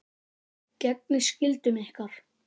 Gegnið skyldum ykkar!